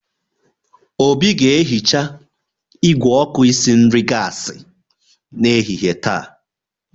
Obi ga-ehicha igwé oku isi nri gasi n'ehihie taa.